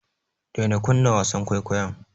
Daina kunna wasan kwaikwayon.